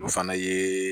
O fana ye